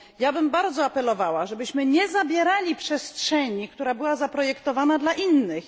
Apelowałabym bardzo mocno, żebyśmy nie zabierali przestrzeni, która była zaprojektowana dla innych.